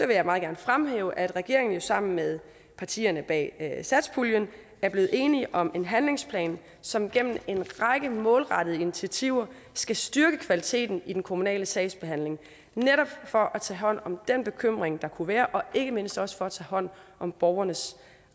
vil jeg meget gerne fremhæve at regeringen sammen med partierne bag satspuljen er blevet enige om en handlingsplan som gennem en række målrettede initiativer skal styrke kvaliteten i den kommunale sagsbehandling netop for at tage hånd om den bekymring der kunne være og ikke mindst også for at tage hånd om borgernes